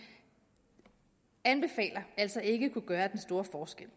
anbefaler altså ikke kunne gøre den store forskel